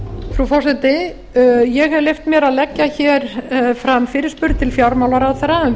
frú forseti ég hef leyft mér að leggja hér fram fyrirspurn til fjármálaráðherra um